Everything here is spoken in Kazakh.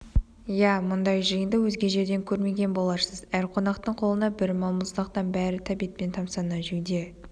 иә мұндай жиынды өзге жерден көрмеген боларсыз әр қонақтың қолында бір балмұздақтан бәрі тәбетпен тамасана жеуде